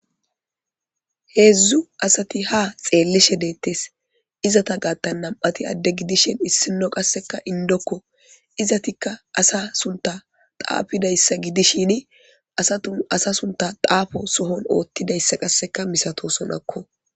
Heedzdzu asati ha xeellishe deettes izata gatta nam'ati adde gidishin issino qasseka indokko izatikka asa sunta taafidayssa gidishini asatu asa sunta taafo sohon oottidayssa qasseka misato sonakko.